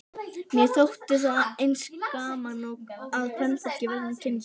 Mér þótti að eins gaman að kvenfólki vegna kynsins.